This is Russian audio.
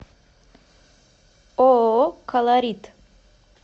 ооо колорит